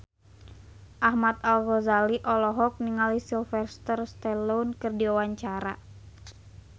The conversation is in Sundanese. Ahmad Al-Ghazali olohok ningali Sylvester Stallone keur diwawancara